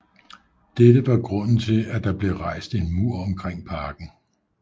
Dette var grunden til at der blev rejst en mur omkring parken